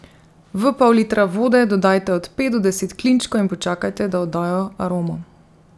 V pol litra vode dodajte od pet do deset klinčkov in počakajte, da oddajo aromo.